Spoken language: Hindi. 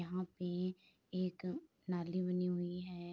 यहाँ पे एक नाली बनी हुई है।